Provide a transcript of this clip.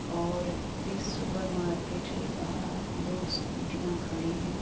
और इस supermarket के बाहर दो स्कूटियाँ खड़ी हैं।